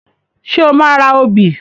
Ṣé o máa ra obì?